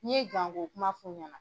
N'i ye ko kuma f'u ɲɛna.